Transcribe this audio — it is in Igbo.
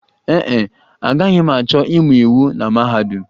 Ee e, agaghị m achọ ịmụ iwu na mahadum